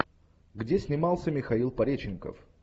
где снимался михаил пореченков